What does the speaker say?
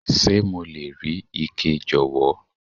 Ṣé mo lè rí ike, jọ̀wọ́?